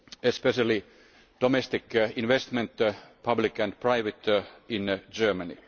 especially domestic investment public and private in Germany.